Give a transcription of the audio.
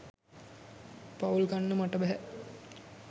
පවුල් කන්න මට බැහැ.